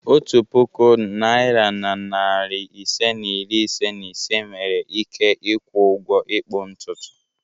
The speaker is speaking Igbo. Otu puku naịra na narị ise na iri ise na ise nwere ike ịkwụ ụgwọ ịkpụ ntutu.